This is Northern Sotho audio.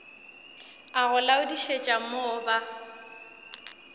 a go laodišetša mo ba